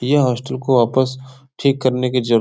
यह होस्टल को वापस ठीक करने की जर --